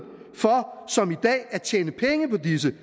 for som i dag at tjene penge på disse